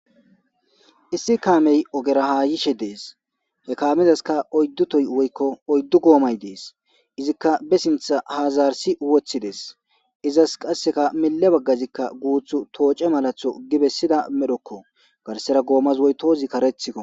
issi kaamey ogera haayishe dees he kaamizaska oyddu toy woykko oyddu goomay dees izikka be sintha haazarsi woththi dees izas qasseka mille baggazikka guuth tooce malatho gibessida medhokko garsera goomas woy toozi karethikko